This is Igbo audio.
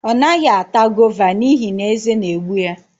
Ọ naghị ata gova n'ihi na eze na-egbu ya